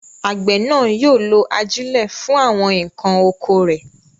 Àgbẹ̀ náà yóò lo ajílẹ̀ fún àwọn nǹkan oko rẹ̀.